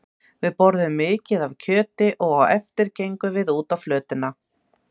Við borðuðum mikið af kjöti og á eftir gengum við út á flötina.